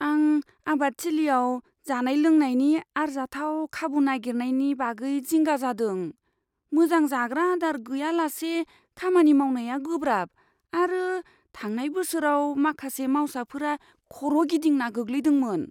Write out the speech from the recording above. आं आबादथिलियाव जानाय लोंनायनि आरजाथाव खाबु नागिरनायनि बागै जिंगा जादों। मोजां जाग्रा आदार गैयालासे खामानि मावनाया गोब्राब, आरो थांनाय बोसोराव माखासे मावसाफोरा खर' गिदिंना गोग्लैदोंमोन।